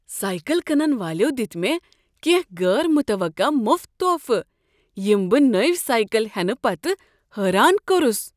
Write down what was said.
Cycle کٕنن والیو دتۍ مےٚ کیٚنٛہہ غیر متوقع مفت تحفہٕ ییٚمۍ بہٕ نوٚو سایکل ہینہٕ پتہٕ حیران کوٚرس۔